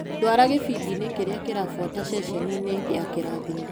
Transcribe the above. Ndwara gĩbindinĩ kĩrĩa kĩrabuata ceceni ya kĩrathimo.